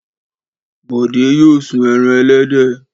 Bọ̀dé yóò sun ẹran ẹlẹ́dẹ̀.